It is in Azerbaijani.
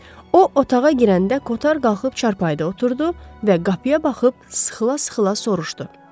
O otağa girəndə Kotar qalxıb çarpayıda oturdu və qapıya baxıb sıxıla-sıxıla soruşdu.